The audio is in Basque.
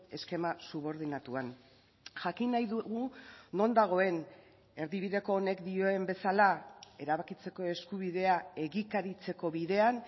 eskema subordinatuan jakin nahi dugu non dagoen erdibideko honek dioen bezala erabakitzeko eskubidea egikaritzeko bidean